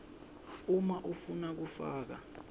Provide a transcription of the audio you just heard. uma ufuna kufaka